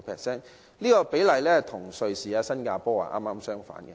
這個比例與瑞士及新加坡剛好相反。